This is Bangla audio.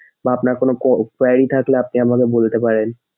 বা আপনার কোনো কোয়েরি query থাকলে আপনি আমাকে বলতে পারেন।